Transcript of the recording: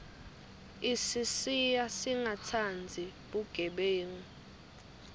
isisiya singatsandzi bugebengu